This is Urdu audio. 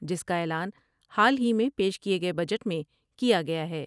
جس کا اعلان حال ہی میں پیش کئے گئے بجٹ میں کیا گیا ہے ۔